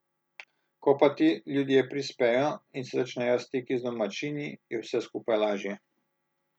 Ko pa ti ljudje prispejo in se začnejo stiki z domačini, je vse skupaj lažje.